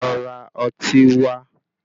Lo ra ọtí wá.